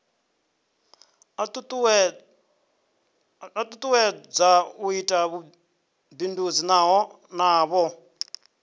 tutuwedza u ita vhubindudzi navho